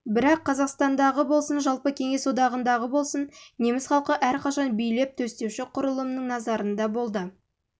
бірақ қазақстандағы болсын жалпы кеңес одағындағы болсын неміс халқы әрқашан билеп-төстеуші құрылымның назарында болды